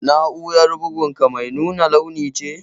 Na'urar bugun ka mai nuna launi ce?